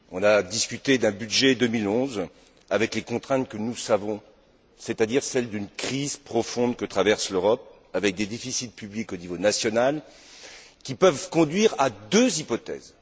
On a discuté d'un budget 2011 avec les contraintes que nous savons, c'est à dire celles d'une crise profonde que traverse l'Europe avec des déficits publics au niveau national qui peuvent conduire à deux hypothèses.